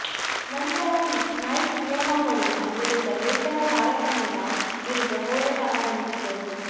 ನಂತರ ನೈಕ್ ನಿಯಮಾವಳಿಯ ವಿರುದ್ಧ ವೇತನ ತಾರತಮ್ಯದ ವಿರುದ್ಧ ಹೋರಾಟ ಆರಂಭಿಸಿದರು